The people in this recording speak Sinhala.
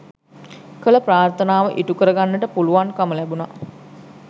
කළ ප්‍රාර්ථනාව ඉටුකර ගන්නට පුළුවන්කම ලැබුණා